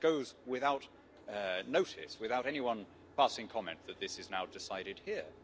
it just goes without notice, without anyone passing comment that this is now decided here.